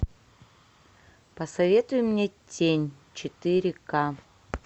посоветуй мне тень четыре ка